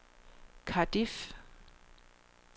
Cardiff